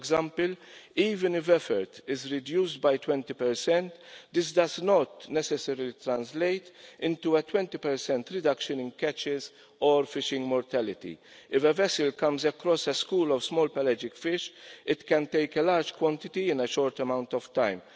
For example, even if effort is reduced by 20, this does not necessarily translate into a 20 reduction in catches or fishing mortality. If a vessel comes across a school of small pelagic fish, it can take a large quantity in a short amount of